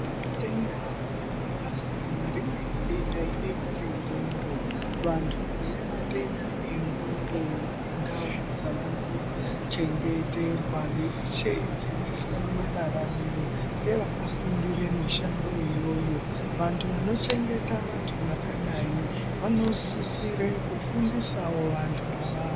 Matenda ariyo akasiyana. Rimweni denda idenda renxondo. Vantu vanematenda enxondo vane ndau dzavanochengeterwa veidzidziswa mararamiro ngevakafundire mishando iyoyo. Vantu vanochengeta vantu vakadai vanosisire kufundisawo vantu ava.